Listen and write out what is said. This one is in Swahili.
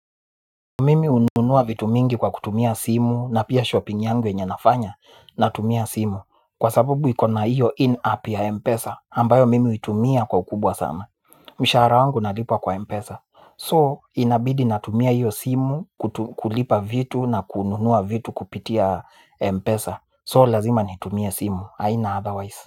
Mimi ununua vitu mingi kwa kutumia simu na pia shopping yangu yenye nafanya na tumia simu. Kwa sababu ikona iyo in up ya Mpesa ambayo mimi utumia kwa ukubwa sana. Mshara wangu nalipwa kwa Mpesa So inabidi na tumia iyo simu kulipa vitu na kununua vitu kupitia Mpesa So lazima nitumia simu, aina otherwise.